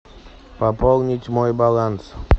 пополнить мой баланс